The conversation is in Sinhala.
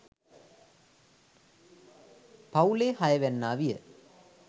පවුලේ හය වැන්නා විය.